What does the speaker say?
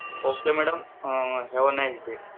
okay madam, have a nice day